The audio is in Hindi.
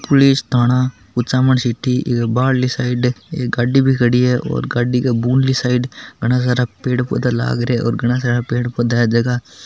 पुलिश थाना कुचामन सिटी बाहर ली साइड एक गाड़ी भी खड़ी है और गाड़ी के साइड बहुत सारा पेड़ पौधा भि लग रहा हे कही सरा पेड़ पोधा है झक --